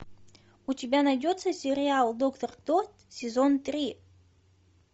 у тебя найдется сериал доктор кто сезон три